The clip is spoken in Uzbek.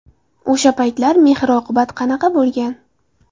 O‘sha paytlar mehr-oqibat qanaqa bo‘lgan?